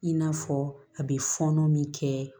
I n'a fɔ a bɛ fɔɔnɔ min kɛ